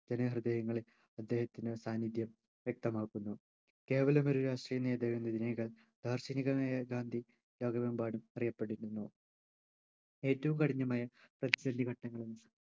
ജനഹൃദയങ്ങളിൽ അദ്ദേഹത്തിനു സാന്നിധ്യം വ്യക്തമാക്കുന്നു കേവലമൊരു രാഷ്ട്രീയ നേതാവ് എന്നതിനേക്കാൾ ദാർശനികമായ ഗാന്ധി ലോകമെമ്പാടും അറിയപ്പെട്ടിരുന്നു ഏറ്റവും കഠിനമായ പ്രതിസന്ധി ഘട്ടങ്ങളിൽ